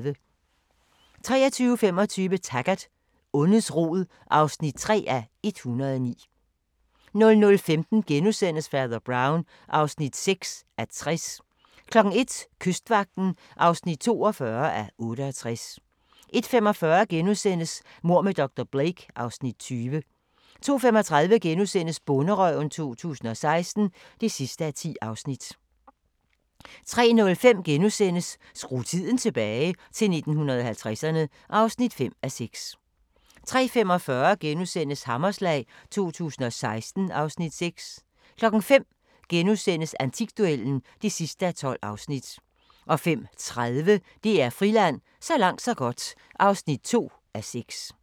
23:25: Taggart: Ondets rod (3:109) 00:15: Fader Brown (6:60)* 01:00: Kystvagten (42:68) 01:45: Mord med dr. Blake (Afs. 20)* 02:35: Bonderøven 2016 (10:10)* 03:05: Skru tiden tilbage – til 1950'erne (5:6)* 03:45: Hammerslag 2016 (Afs. 6)* 05:00: Antikduellen (12:12)* 05:30: DR Friland: Så langt så godt (2:6)